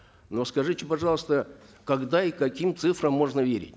но скажите пожалуйста когда и каким цифрам можно верить